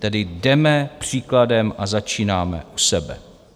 Tedy jdeme příkladem a začínáme u sebe.